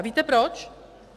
A víte proč?